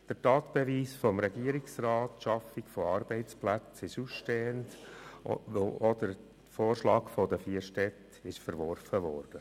Der Tatbeweis des Regierungsrats, die Schaffung von Arbeitsplätzen, ist ausstehend, weil auch der Vorschlag der vier Städte verworfen wurde.